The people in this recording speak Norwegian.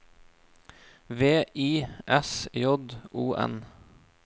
V I S J O N